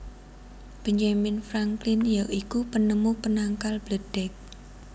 Benjamin Franklin ya iku penemu penangkal bledheg